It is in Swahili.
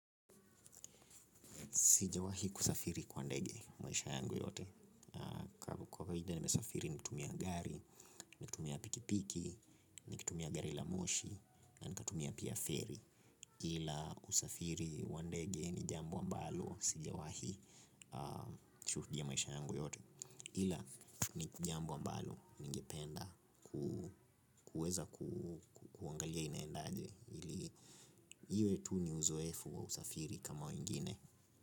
Sijawahi kusafiri kwa ndege maisha yangu yote. Kawaida nasafiri kutumia gari, kutumia pikipiki na kutumia gari la moshi na nikatumia pia feri. Ila usafiri wa ndege ni jambo ambalo. Sijawahi shuhudia maisha yangu yote. Ila ni jambo ambalo. Ningependa kuweza kuangalia inaendaje. Ili iwe tu ni uzoefu wa usafiri kama wengine.